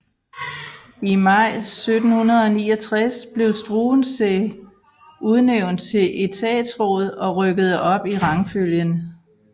I maj 1769 blev Struensee udnævnt til etatsråd og rykkede op i rangfølgen